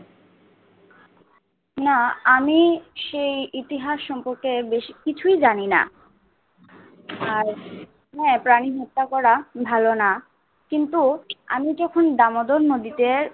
না আমি সে ইতিহাস সর্ম্পকে বেশি কিছু জানিনা আর প্রাণী হত্যা করা ভালো না। কিন্তু আমি দামদর নদীতে